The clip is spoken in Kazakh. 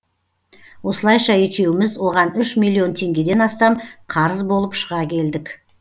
осылайша екеуміз оған үш миллион теңгеден астам қарыз болып шыға келдік